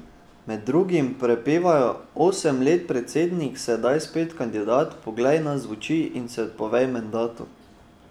Med drugim prepevajo: "Osem let predsednik, sedaj spet kandidat, poglej nas v oči in se odpovej mandatu.